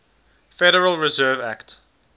federal reserve act